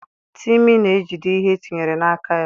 Timi na-ejide ihe etinyere n'aka ya.